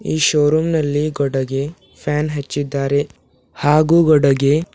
ಈ showroom ನಲ್ಲಿ ಕೊಡಗೆ ಫ್ಯಾನ್ ಹಚ್ಚಿದ್ದಾರೆ ಹಾಗು ಓಡಗೆ--